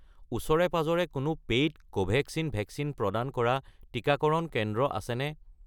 ওচৰে-পাঁজৰে কোনো paid Covaxin vaccine প্ৰদান কৰা টিকাকৰণ কেন্দ্ৰ আছেনে?